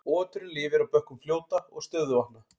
Oturinn lifir á bökkum fljóta og stöðuvatna.